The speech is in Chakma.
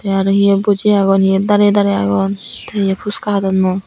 tey aro hiye buji agon hiye darey darey agon tey hiye phuska hadonnoi.